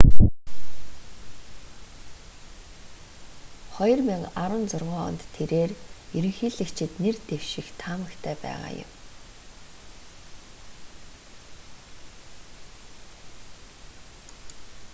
2016 онд тэрээр ерөнхийлөгчид нэр дэвших таамагтай байгаа юм